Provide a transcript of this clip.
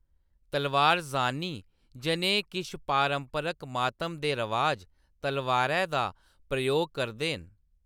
तलवार ज़ानी जनेह् किश पारंपरक मातम दे रवाज, तलवारै दा प्रयोग करदे न।